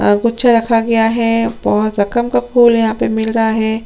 अ कुछ रखा गया है बहोत रकम का फूल यहाँ पे मिल रहा है।